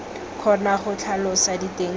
kgona go tlhalosa diteng tsa